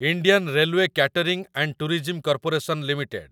Indian railway catering and tourism corporation limited